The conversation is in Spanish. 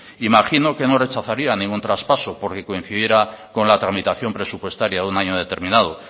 imagino que no rechazaría ningún traspaso porque coincidiera con la tramitación presupuestaria de un año determinado